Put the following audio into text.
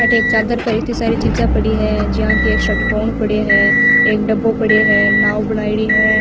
अठे एक चादर पर इत्ता सारी चिजिया पड़ी है ज्यान की सटकोण पड़े है एक डब्बो पड़े है नाव बनाईडी है।